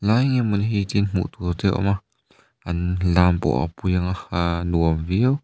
tian hmuh tur te awm a an lam pawh a pui anga aaa nuam viau --